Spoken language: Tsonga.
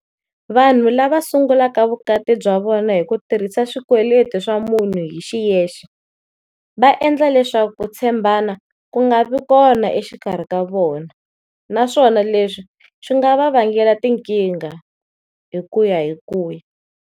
Vanhu lava sungulaka vukati bya vona hi ku tirhisa swikweleti swa munhu hi xiyexe, va endla leswaku ku tshembana ku nga vi kona exikarhi ka vona, naswona leswi swi nga va vangela tinkingha hi ku ya hi ku ya.